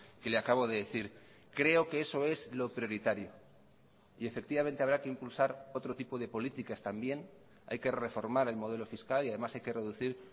que le acabo de decir creo que eso es lo prioritario y efectivamente habrá que impulsar otro tipo de políticas también hay que reformar el modelo fiscal y además hay que reducir